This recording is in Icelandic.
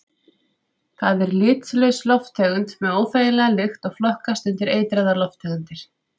Það er litlaus lofttegund með óþægilega lykt og flokkast undir eitraðar lofttegundir.